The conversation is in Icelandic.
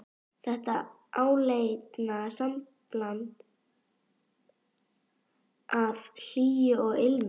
Þetta áleitna sambland af hlýju og ilmi.